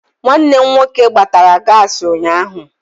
Nwanne m nwoke gbatara gaasị ụnyaahụ.